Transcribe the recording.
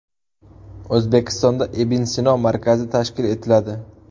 O‘zbekistonda Ibn Sino markazi tashkil etiladi.